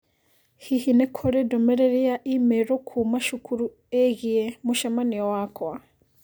Hihi nĩ kũrĩ ndũmĩrĩri ya i-mīrū kuuma cukuru ĩgiĩ mũcemanio wakwa?